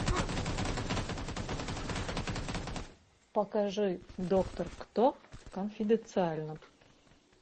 покажи доктор кто конфиденциально